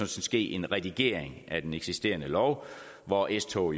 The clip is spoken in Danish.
skal ske en redigering af den eksisterende lov hvor s tog